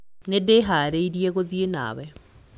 Nĩndĩharĩirie gũthiĩ nawe